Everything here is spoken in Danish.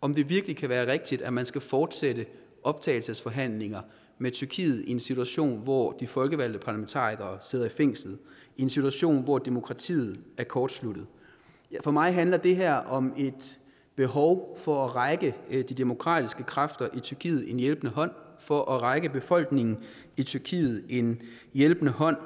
om det virkelig kan være rigtigt at man skal fortsætte optagelsesforhandlinger med tyrkiet i en situation hvor de folkevalgte parlamentarikere sidder i fængsel i en situation hvor demokratiet er kortsluttet for mig handler det her om et behov for at række de demokratiske kræfter i tyrkiet en hjælpende hånd for at række befolkningen i tyrkiet en hjælpende hånd